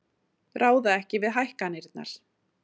Ráða ekki við hækkanirnar